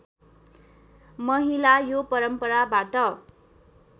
महिला यो परम्पराबाट